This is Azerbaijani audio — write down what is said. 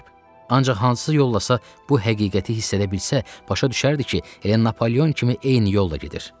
Ancaq hansı yollasa bu həqiqəti hiss edə bilsə, başa düşərdi ki, elə Napoleon kimi eyni yolla gedir.